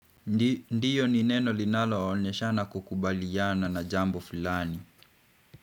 Ndiyo ni neno linalo onyeshana kukubaliana na jambo flani.